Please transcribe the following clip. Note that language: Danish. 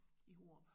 I Hurup